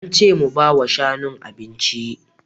Ance mu bawa shanun abinci